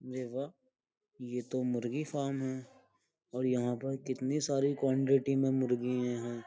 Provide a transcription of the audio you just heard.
देखा ये तो मुर्गी फार्म है और यहाँ पर कितनी सारी क्वांटिटी में मुर्गीियां हैं।